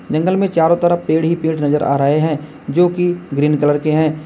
जंगल में चारो तरफ पेड़ ही पेड़ नजर आ रहे है जो कि ग्रीन कलर के है।